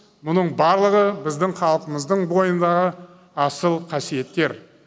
мұның барлығы біздің халқымыздың бойындағы асыл қасиеттер